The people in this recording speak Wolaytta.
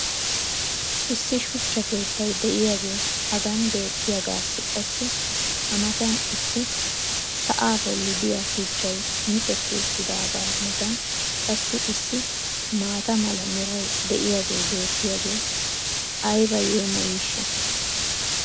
Issi shuchcha keettay diyaagee hagan beetiyaagaassi qassi a matan issi sa"aa bolli diyaa shuchchay micetti uttidaagaa matan qassi issi maata mala meray diyaagee beetiyaagee ayba yeemmoyiishsha!